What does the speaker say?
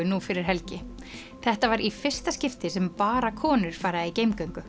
nú fyrir helgi þetta var í fyrsta skipti sem bara konur fara í